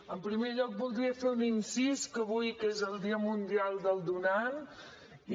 en primer lloc voldria fer un incís avui que és el dia mundial del donant i